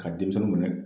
Ka denmisɛnninw minɛ